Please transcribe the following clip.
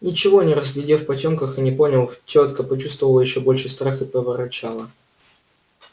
ничего не разглядев в потёмках и не поняв тётка почувствовала ещё больший страх и проворчала